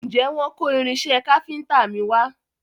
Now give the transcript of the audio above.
Ǹjẹ́ wọ́n kó irinṣẹ́ káfíntà mi wa?